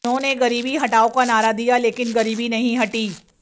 उन्होंने गरीबी हटाओ का नारा दिया लेकिन गरीबी नहीं हटी